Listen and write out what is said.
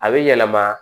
A bɛ yɛlɛma